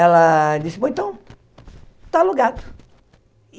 Ela disse, bom, então, está alugado.